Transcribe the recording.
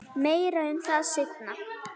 Meira um það seinna.